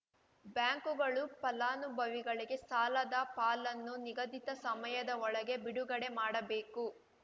ಬ್ಯಾಂಕುಗಳು ಫಲಾನುಭವಿಗಳಿಗೆ ಸಾಲದ ಪಾಲನ್ನು ನಿಗದಿತ ಸಮಯದ ಒಳಗೆ ಬಿಡುಗಡೆ ಮಾಡಬೇಕು